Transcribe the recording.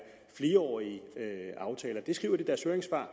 flerårige aftaler de skriver i deres høringssvar